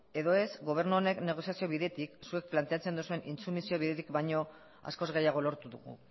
edo ez gobernu honek negoziazio bidetik zuek planteatzen duzuen intsumisio bidetik baino askoz gehiago lortu dugu